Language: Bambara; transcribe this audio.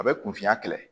A bɛ kun fiya kɛlɛ